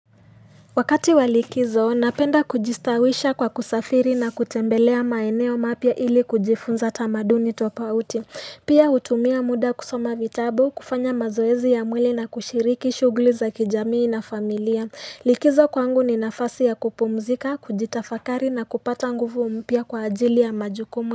Wakati wa likizo napenda kujistawisha kwa kusafiri na kutembelea maeneo mapia ili kujifunza tamaduni tofauti pia hutumia muda kusoma vitabu kufanya mazoezi ya mwili na kushiriki shughuli za kijamii na familia likizo kwangu ni nafasi ya kupumzika kujitafakari na kupata nguvu mpya kwa ajili ya majukumu.